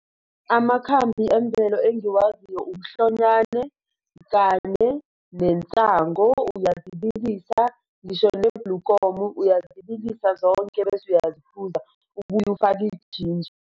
Amakhambi emvelo engiwaziyo, umhlonyane kanye nensangu iyazibilisa ngisho nebhlukomu iyazibilisa zonke beze uyazibuza, ubuye ufake ijinja.